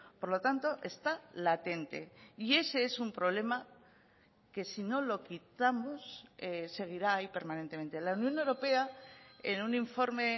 por lo tanto está latente y ese es un problema que si no lo quitamos seguirá ahí permanentemente la unión europea en un informe